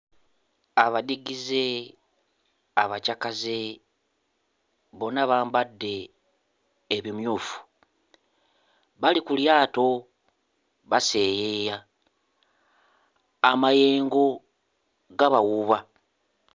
Abadigize abakyakaze bonna bambadde ebimyufu bali ku lyato baseeyeeya amayengo gabawuuba.